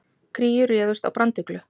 Kríur réðust á branduglu